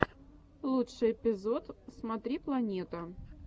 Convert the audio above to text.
лучший эпизод смотри планета